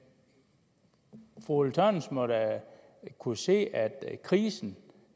fru ulla tørnæs må da kunne se at krisen